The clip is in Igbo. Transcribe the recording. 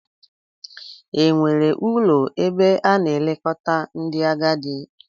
Enwere ụlọ ebe a na-elekọta ndị agadi?